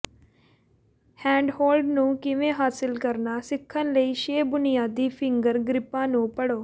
handhold ਨੂੰ ਕਿਵੇਂ ਹਾਸਲ ਕਰਨਾ ਸਿੱਖਣ ਲਈ ਛੇ ਬੁਨਿਆਦੀ ਫਿੰਗਰ ਗ੍ਰਿੱਪਾਂ ਨੂੰ ਪੜ੍ਹੋ